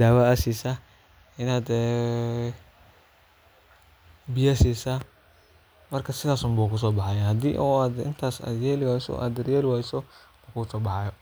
dawa sisa biya sisa marka hada sas yeli wayso maso baxayo sas waye mark.